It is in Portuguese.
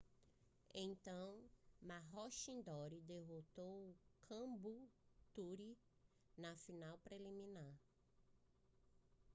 então maroochydore derrotou caboolture na final preliminar